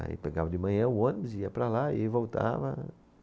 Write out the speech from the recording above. Aí pegava de manhã o ônibus, ia para lá e voltava.